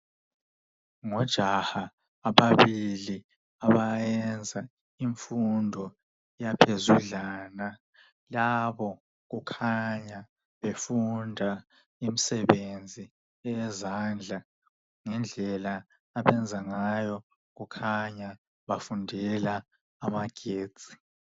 Ngojaha ababili abayenza imfundo yaphezudlana. Labo kukhanya befunda imisebenzi eyezandla. Ngendlela abayenza ngayo kukhanya bafundela amagetsi.